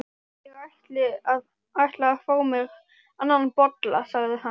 Ég ætla að fá mér annan bolla, sagði hann.